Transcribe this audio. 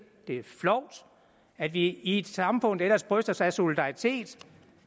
det er flovt at vi i et samfund der ellers bryster sig af solidaritet